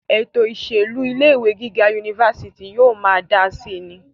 ètò ìṣèlú ilé ìwé gíga unifásitì yóò máa dáa síi ni